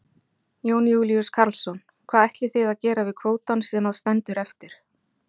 Jón Júlíus Karlsson: Hvað ætlið þið að gera við kvótann sem að stendur eftir?